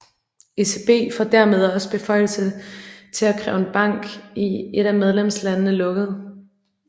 ECB får dermed også beføjelse til at kræve en bank i et af medlemslandene lukket